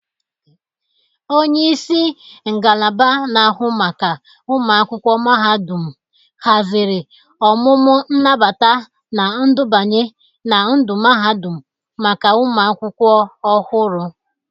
Onyeisi ngalaba na-ahụ maka ụmụakwụkwọ mahadụm hazịrị ọmụmụ nnabata na ndubanye na ndu mahadum maka ụmụ akwụkwọ ọhụrụ.